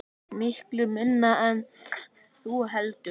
Miklu minna en þú heldur.